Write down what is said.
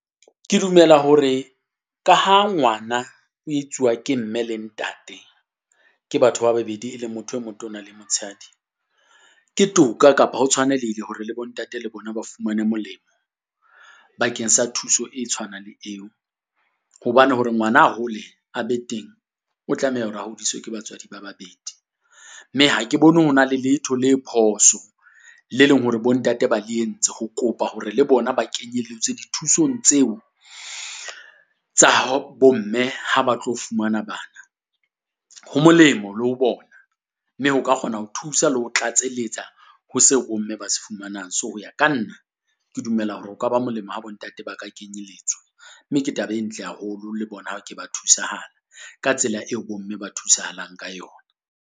Ke dumela hore ka ha ngwana o etsuwa ke mme le ntate ke batho ba babedi e le motho e motona le motshehadi. Ke toka kapa ho tshwanelehile hore le bo ntate le bona ba fumane molemo bakeng sa thuso e tshwanang le eo. Hobane hore ngwana a hole a be teng, o tlameha hore a hodiswe ke batswadi ba babedi, mme ha ke bone ho na le letho le phoso le leng hore bo ntate ba le entse ho kopa hore le bona ba kenyelletswe dithusong tseo tsa ho bo mme ha ba tlo fumana bana. Ho molemo le ho bona, mme ho ka kgona ho thusa le ho tlatselletsa ho se bomme ba se fumanang. So ya ka nna ke dumela hore o ka ba molemo ha bo ntate ba ka kenyelletswa, mme ke taba e ntle haholo le bona ke ba thusahala, ka tsela eo bo mme ba thusahalang ka yona.